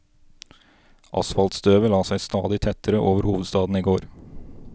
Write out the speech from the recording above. Asfaltstøvet la seg stadig tettere over hovedstaden i går.